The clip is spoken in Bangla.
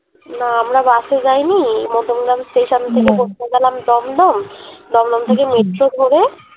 না আমরা বাসে যাই নি মধ্যম গ্রাম station থেকে পৌছে গেলাম দমদম দমদম থেকে metro ধরে